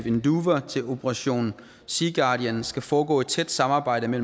operation sea guardian skal foregå et tæt samarbejde med